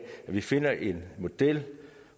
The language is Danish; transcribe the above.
at vi finder en model